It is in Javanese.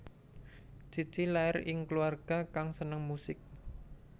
Cici lair ing kluwarga kang seneng musik